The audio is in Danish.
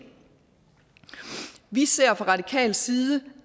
vi ser fra radikal side